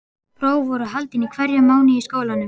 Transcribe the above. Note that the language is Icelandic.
Próf voru haldin í hverjum mánuði í skólanum.